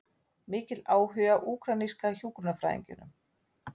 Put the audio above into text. Mikill áhugi á úkraínska hjúkrunarfræðingnum